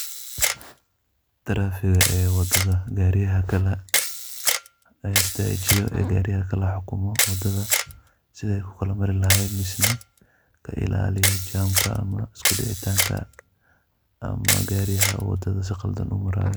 Trafiga ee wadada gaariyaha kala istajiyo ee gaariyaha kala hukumo wadada, sidha ay ku kala mari lahaayeen mise ka ilaaliyo jamka ama uskudicitaanka ama gaariyaha wadada si qaldan u maraayo.